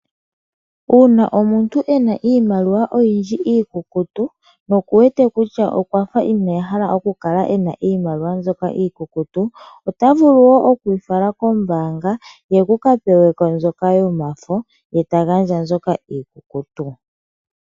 Uuna omuntu ena iimaliwa oyindji iikukutu noku wete kutya okwafa ineyi hala okukala ena iimaliwa mbyoka iikukutu ota vulu okuyi fala kombaanga ye aka peweko mbyoka yomafo ye ta gandja mbyoka iikukutu.